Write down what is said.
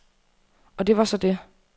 Og det var så det.